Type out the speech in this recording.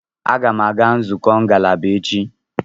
Aga a-aga nzukọ ngalaba echi.